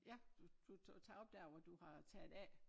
Ja du du tager op dér hvor du har taget af